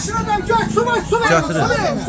Maşına da su, su var, su.